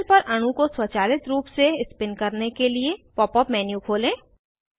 panel पर अणु को स्वचालित रूप से स्पिन करने के लिए पॉप अप मेनू खोलें